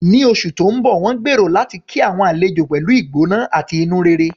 Ní oṣù tó ń bọ̀, wọ́n gbèrò láti kí àwọn àlejò pẹ̀lú ìgbóná àti inú rere.